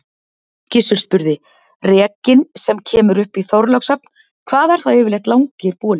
Gizur spurði:-Rekinn sem kemur upp í Þorlákshöfn, hvað eru það yfirleitt langir bolir?